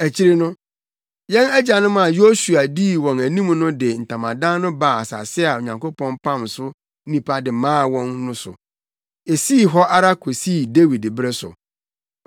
Akyiri no, yɛn agyanom a Yosua dii wɔn anim no de ntamadan no baa asase a Onyankopɔn pam so nnipa de maa wɔn no so. Esii hɔ ara kosii Dawid bere so.